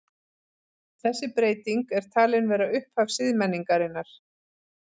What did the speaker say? Þessi breyting er talin vera upphaf siðmenningarinnar.